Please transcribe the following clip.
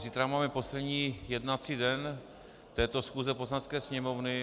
Zítra máme poslední jednací den této schůze Poslanecké sněmovny.